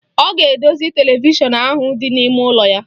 Ọ ga-edozi televishọn ahụ dị n'ime ụlọ ya.